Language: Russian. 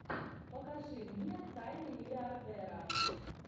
покажи мне тайны миллиардера